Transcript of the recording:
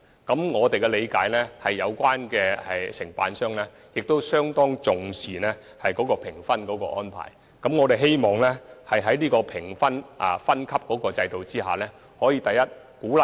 據我們了解，承辦商相當重視評分安排，我們希望在這個評分分級制度下能夠做到以下兩點。